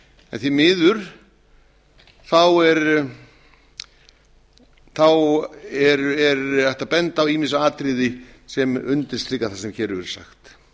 en því miður er hægt að benda á ýmis atriði sem undirstrika það sem hér hefur